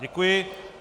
Děkuji.